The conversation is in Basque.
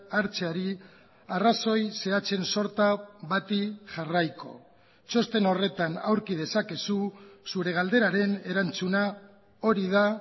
hartzeari arrazoi zehatzen sorta bati jarraiko txosten horretan aurki dezakezu zure galderaren erantzuna hori da